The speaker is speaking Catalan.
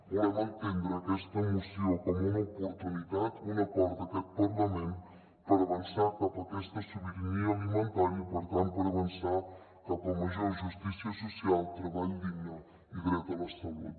volem entendre aquesta moció com una oportunitat un acord d’aquest parlament per avançar cap a aquesta sobirania alimentària i per tant per avançar cap a major justícia social treball digne i dret a la salut